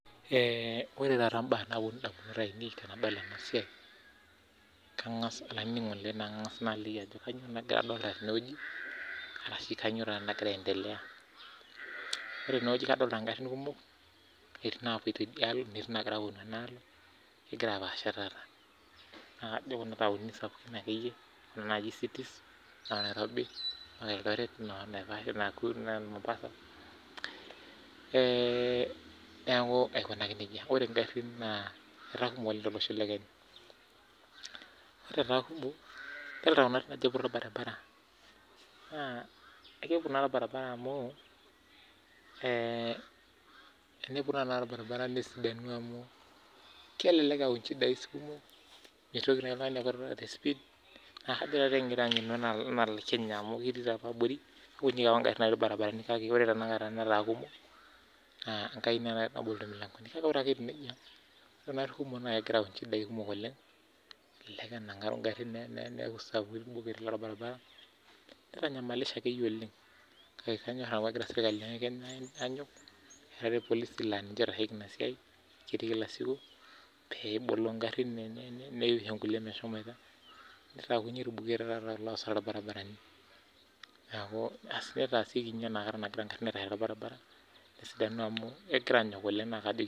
ore entoki nalotu indamunot ainei tenadol ena baye, kaangaas ninye aliki ajo kanyioo naloito dukuya tene amuu kadoolta inkarin kumook egira apaasha neeja intaonini sapukin etii oleng naijo mombasa, Nairobi, Eldoret aikunaki nejia ore naa idoolta ajo iputa orbaribara amu kikiti netaa kumook inkarin torbaribara negira sii aayau incchidai kumook enaa orbuket lobaribara nitanyamalisho akeyie oleng kake enyokita sirkali aarare amuu ketii irpolisi enaake nenyokita sii